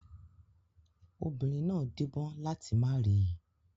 Obìnrin náà díbọ́n láti má rí i.